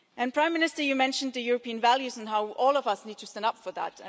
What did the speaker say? Prime Minister, you mentioned European values and how all of us need to stand up for them.